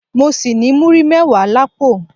Mọ ṣì ní múrí mẹ́wàá l'ápò